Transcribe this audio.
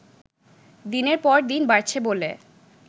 দিনের পর দিন বাড়ছে বলে